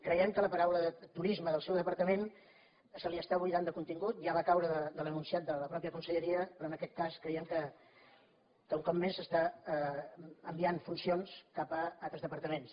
creiem que a la paraula turisme del seu departament se l’està buidant de contingut ja va caure de l’enunciat de la mateixa conselleria però en aquest cas creiem que un cop més s’estan enviant funcions cap a altres departaments